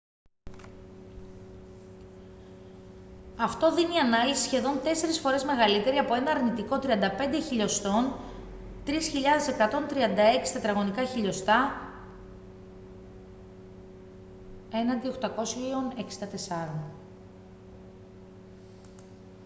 αυτό δίνει ανάλυση σχεδόν τέσσερις φορές μεγαλύτερη από ένα αρνητικό 35mm 3136 τετραγωνικά χιλιοστά mm2 έναντι 864